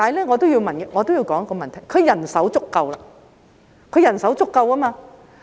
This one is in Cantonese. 我也要提出一點，就是因為他們人手足夠。